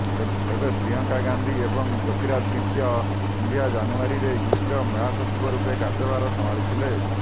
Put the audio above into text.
ତେବେ ପ୍ରିୟଙ୍କା ଗାନ୍ଧି ଏବଂ ଜ୍ୟୋର୍ତିଆଦିତ୍ୟ ସିନ୍ଧିଆ ଜାନୁଆରୀରେ ୟୁପିର ମହାସଚିବ ରୂପେ କାର୍ଯ୍ୟଭାର ସମ୍ଭାଳିଥିଲେ